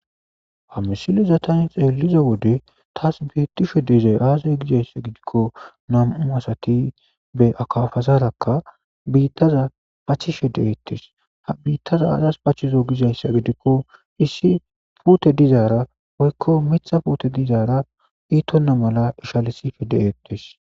Ha misileza taani xelliza wode tas beetishe dizayssi aze gidikko nam'u asatti akapara biittaza pachchishe de'ettes biittaza azas pachchizo gizayssa gidikko issi puutte dizara woykko miiththa puute dizara iitona mala iishalisishe de'ettes